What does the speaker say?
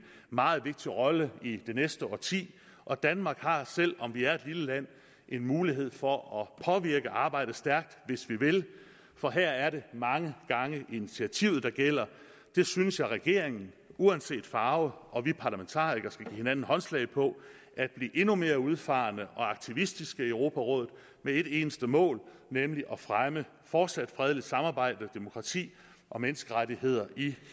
meget vigtig rolle i det næste årti og danmark har selv om vi er et lille land en mulighed for at påvirke arbejdet stærkt hvis vi vil for her er det mange gange initiativet der gælder jeg synes at regeringen uanset farve og vi parlamentarikere skal give hinanden håndslag på at blive endnu mere udfarende og aktivistiske i europarådet med et eneste mål nemlig at fremme et fortsat fredeligt samarbejde demokrati og menneskerettigheder i